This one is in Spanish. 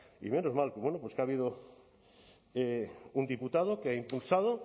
y menos mal que bueno pues que ha habido un diputado que ha impulsado